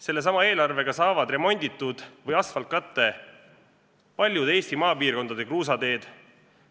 Sellesama eelarvega saavad remonditud või asfaltkatte paljude Eesti maapiirkondade kruusateed.